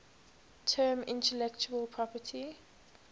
term intellectual property